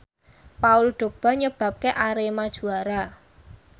Paul Dogba nyebabke Arema juara